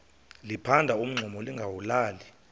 liphanda umngxuma lingawulali